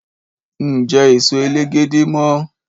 Ń jẹ́ èso elégédé mọ.